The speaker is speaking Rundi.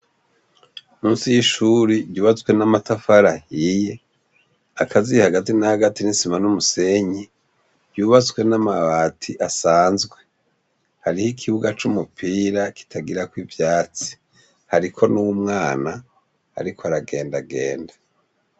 Musi y'ishuri ryubatswe n'amatafari ahiye hagati na hagati y'isima n'umusenyi yubatswe n'amabati asanzwe hariyo ikibuga c'umupira kitagirako ivyatsi hariho n'umwana ariko aragendagenda.